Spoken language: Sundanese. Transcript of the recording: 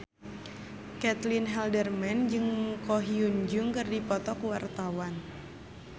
Caitlin Halderman jeung Ko Hyun Jung keur dipoto ku wartawan